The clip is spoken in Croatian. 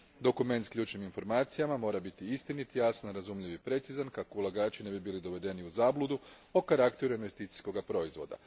Dokument s ključnim informacijama mora biti istinit, jasan, razumljiv i precizan kako ulagači ne bi bili dovedeni u zabludu o karakteru investicijskoga proizvoda.